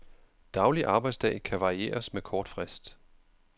Daglig arbejdsdag kan varieres med kort frist.